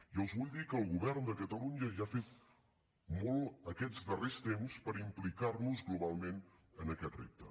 i els vull dir que el govern de catalunya ja ha fet molt aquests darrers temps per implicar nos globalment en aquest repte